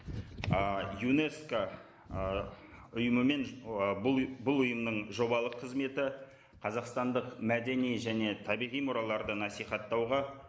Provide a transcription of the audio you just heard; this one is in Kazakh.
ы юнеско ы ұйымымен ы бұл ұйымның жобалық қызметі қазақстандық мәдени және табиғи мұраларды насихаттауға